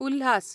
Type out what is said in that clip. Ulhas